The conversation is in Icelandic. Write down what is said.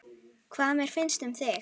Hvað mér finnst um þig?